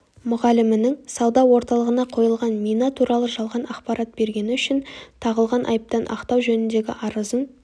мұғалімінің сауда орталығына қойылған мина туралы жалған ақпарат бергені үшін тағылған айыптан ақтау жөніндегі арызын